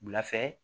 Wula fɛ